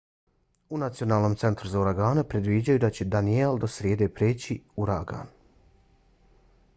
u nacionalnom centru za uragane predviđaju da će danielle do srijede preći u uragan